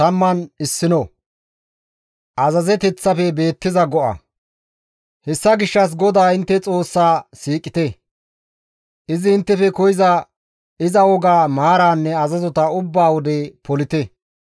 Hessa gishshas GODAA intte Xoossaa siiqite; izi inttefe koyza iza wogaa, maaraanne azazota ubba wode polite.